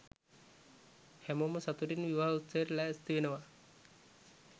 හැමෝම සතුටින් විවාහ උත්සවයට ලෑස්ති වෙනවා.